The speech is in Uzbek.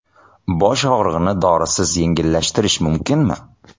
Bosh og‘rig‘ini dorisiz yengillashtirish mumkinmi?